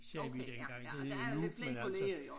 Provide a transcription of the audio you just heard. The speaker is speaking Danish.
Sagde vi dengang det hedder jo Nuuk men altså